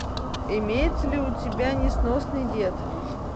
имеется ли у тебя несносный дед